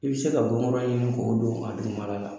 I bɛ se ka bɔnkura ɲini k'o don a dugu mala la.